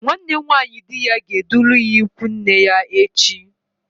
Nwanne nwaanyi di ya ga-edula ya ịkwụ nne ya echi.